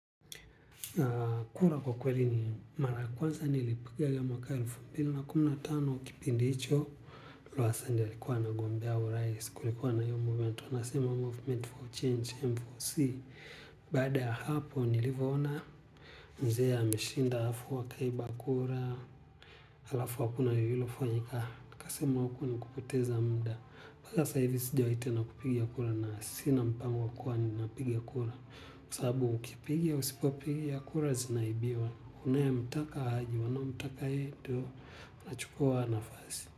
Kura kwa kweli ni mara ya kwanza nilipiga hiyo mwaka wa elfu mbili na kumi na tano kipindi hicho Luasanya ndo alikuwa anagombea urais kulikuwa na hiyo movement wanasema Movement for Change M4C. Baada ya hapo nilivoona mzee ameshinda halafu wakaiba kura. Alafu akuna yu hilo fanyika. Nika sema huku ni kupoteza munda. Pasa saivi sijo itena kupigia kura na sina mpango wakua ni napigia kura. Kusabu ukipigia usipopigia kura zinaibiwa. Kune mtaka haji wana mtaka edo. Na chukua wanafazi.